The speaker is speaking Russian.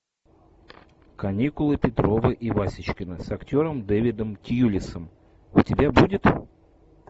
каникулы петрова и васечкина с актером дэвидом тьюлисом у тебя будет